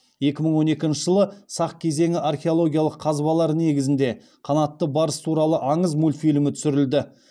екі мың он екінші жылы сақ кезеңі археологиялық қазбалары негізінде қанатты барыс туралы аңыз мультфильмі түсірілді